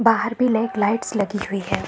बाहर भी लेट लाइट्स लगी हुई हैं।